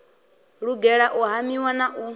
lugela u hamiwa na u